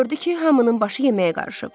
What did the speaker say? Gördü ki, hamının başı yeməyə qarışıb.